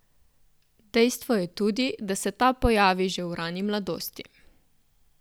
Dejstvo je tudi, da se ta pojavi že v rani mladosti.